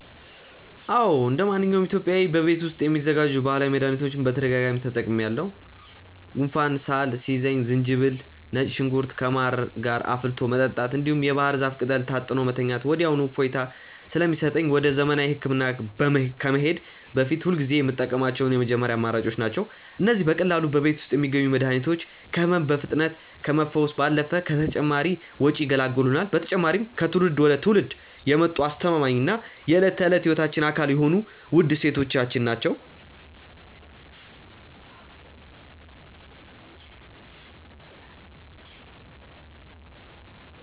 አዎ እንደማንኛውም ኢትዮጵያዊ በቤት ውስጥ የሚዘጋጁ ባህላዊ መድኃኒቶችን በተደጋጋሚ ተጠቅሜአውቃሠሁ። ጉንፋንና ሳል ሲይዘኝ ዝንጅብልና ነጭ ሽንኩርት ከማር ጋር አፍልቶ መጠጣት፣ እንዲሁም የባህር ዛፍ ቅጠል ታጥኖ መተኛት ወዲያውኑ እፎይታ ስለሚሰጠኝ ወደ ዘመናዊ ሕክምና ከመሄዴ በፊት ሁልጊዜ የምጠቀማቸው የመጀመሪያ አማራጮቼ ናቸው። እነዚህ በቀላሉ በቤት ውስጥ የሚገኙ መድኃኒቶች ከሕመም በፍጥነት ከመፈወስ ባለፈ ከተጨማሪ ወጪ ይገላግሉናል። በተጨማሪም ከትውልድ ወደ ትውልድ የመጡ አስተማማኝና የዕለት ተዕለት ሕይወታችን አካል የሆኑ ውድ እሴቶቻችን ናቸው።